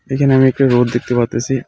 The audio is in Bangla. এইখানে আমি একটা রোড দেখতে পারতেসি.